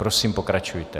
Prosím, pokračujte.